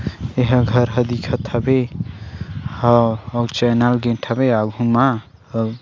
ये हा घर ह दिखत हवे हव आऊ चाइना गेट हवय आघु मा--